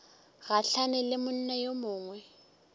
gahlane le monna yo mongwe